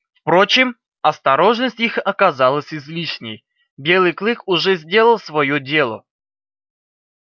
впрочем осторожность их оказалась излишней белый клык уже сделал своё дело